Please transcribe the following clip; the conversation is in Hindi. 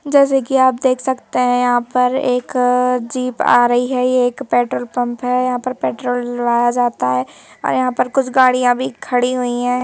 जैसे कि आप देख सकते हैं यहां पर एक जीप आ रही है ये एक पेट्रोल पंप है यहां पर पेट्रोल डलवाया जाता है व यहां पे कुछ गाड़ियां भी खड़ी हुई है।